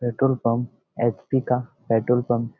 Petrol pump HP. का petrol pump --